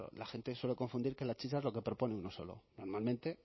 claro la gente suele confundir que la chicha es lo que propone uno solo normalmente